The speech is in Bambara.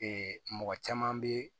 mɔgɔ caman bɛ